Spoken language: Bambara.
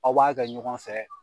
Aw b'a kɛ ɲɔgɔn fɛ